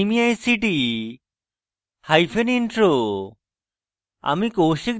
আমি কৌশিক দত্ত এই টিউটোরিয়ালটি অনুবাদ করেছি